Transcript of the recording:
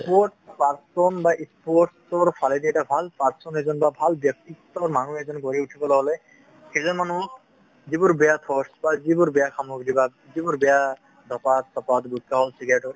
sports person বা sports ৰ ফালেদি এটা ভাল person এজন বা ভাল ব্যক্তিত্বৰ মানুহ এজন গঢ়ি উঠিবলৈ হলে সেইজন মানু্হে যিবোৰ বেয়া force বা যিবোৰ বেয়া সামগ্ৰী বা যিবোৰ বেয়া, ধপাঁত চপাত গুটখা হওঁক চিগাৰেট হওঁক